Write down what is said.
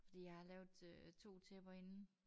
Fordi jeg har lavet øh 2 tæpper inden